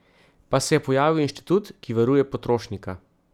Pa se je pojavil inštitut, ki varuje potrošnika.